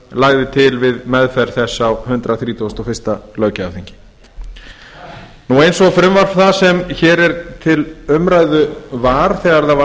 lagði til við meðferð þess á hundrað þrítugasta og fyrsta löggjafarþingi eins og frumvarp það sem hér er til umræðu var þegar það var